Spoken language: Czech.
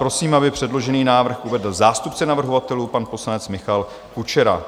Prosím, aby předložený návrh uvedl zástupce navrhovatelů, pan poslanec Michal Kučera.